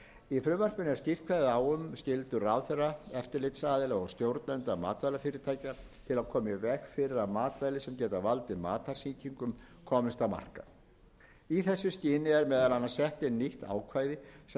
í frumvarpinu er skýrt kveðið á um skyldur ráðherra eftirlitsaðila og stjórnenda matvælafyrirtækja til að koma í veg fyrir að matvæli sem geta valdið matarsýkingum komist á markað í þessu skyni er meðal annars sett inn nýtt ákvæði sem leggur þá skyldu